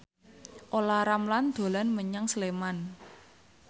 Olla Ramlan dolan menyang Sleman